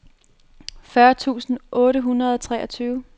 fyrre tusind otte hundrede og treogtyve